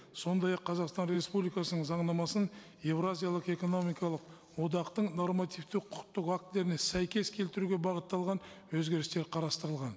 сондай ақ қазақстан республикасының заңнамасын еуразиялық экономикалық одақтың нормативті құқықтық актілеріне сәйкес келтіруге бағытталған өзгерістер қарастырылған